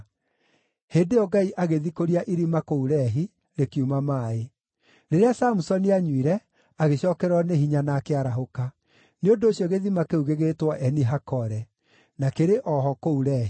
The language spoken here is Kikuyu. Hĩndĩ ĩyo Ngai agĩthikũria irima kũu Lehi, rĩkiuma maaĩ. Rĩrĩa Samusoni aanyuire, agĩcookererwo nĩ hinya na akĩarahũka. Nĩ ũndũ ũcio gĩthima kĩu gĩgĩtwo Eni-Hakore. Na kĩrĩ o ho kũu Lehi.